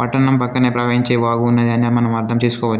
పట్టణం పక్కనే ప్రవహించే వాగు ఉన్నదనే మనం అర్థం చేసుకోవచ్చు.